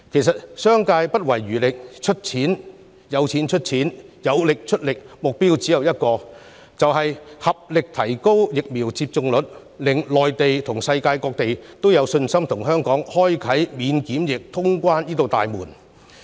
誠然，商界不遺餘力，有錢出錢，有力出力，目標只有一個，便是合力提升疫苗接種率，令內地和世界各地都有信心與香港開啟免檢疫通關這道大門。